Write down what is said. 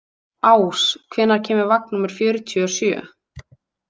Ás, hvenær kemur vagn númer fjörutíu og sjö?